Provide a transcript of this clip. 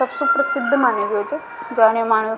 सबसे प्रसिद्ध माने गयो छ जानो मानो --